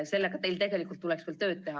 Sellega tuleks teil küll tööd teha.